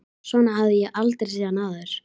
Svona hafði ég aldrei séð hann áður.